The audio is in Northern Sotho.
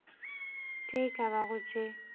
tše e ka bago tše